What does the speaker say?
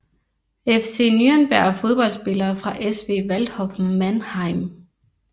FC Nürnberg Fodboldspillere fra SV Waldhof Mannheim